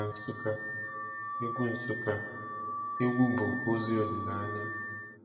Na Nsukka, egwu Nsukka, egwu bu ozi olile anya.